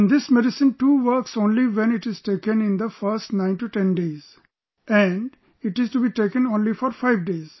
And this medicine too works only when it is taken in the first 910 days...and it is to be taken only for five days